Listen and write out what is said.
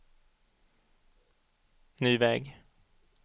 ny väg